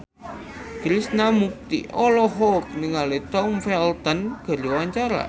Krishna Mukti olohok ningali Tom Felton keur diwawancara